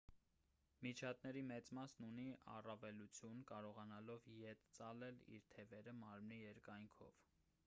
միջատների մեծ մասն ունի առավելություն կարողանալով ետ ծալել իր թևերը մարմնի երկայնքով